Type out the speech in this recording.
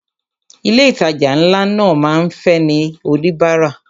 Ilé ìtajà ńlá máa ń fẹ́ ní oníbárà.